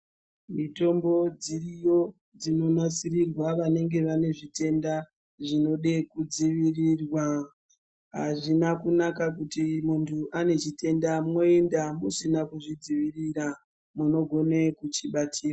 Mitombo dziriyo dzinonasirirwa vanenge vane zvitenda zvinode kudzivirirwa azvina kunaka kuti muntu ane chitenda moenda musina kuzvidzirira munogone kuchibatira.